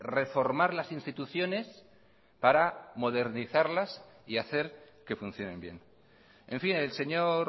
reformar las instituciones para modernizarlas y hacer que funcionen bien en fin el señor